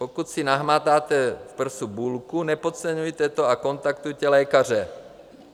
Pokud si nahmatáte v prsu bulku, nepodceňujte to a kontaktujte lékaře.